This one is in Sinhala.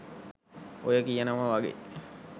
ඔය කියනව වගේ